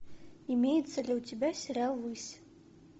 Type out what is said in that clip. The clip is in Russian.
имеется ли у тебя сериал высь